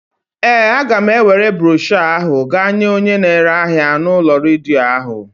Ee, a ga m ewere broshọ ahụ gaa nye onye na-ere ahịa u'ulo redio ahụ.